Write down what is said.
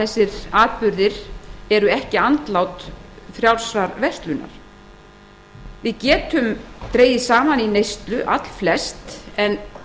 þessir atburðir séu ekki andlát frjálsrar verslunar við getum allflest dregið saman í neyslu en